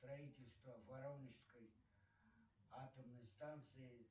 строительство воронежской атомной станции